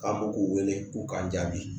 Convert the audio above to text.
An m'u wele k'u kan jaabi